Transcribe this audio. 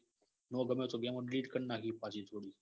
હોવ તમે game phone કારનાખી. પછી થોડી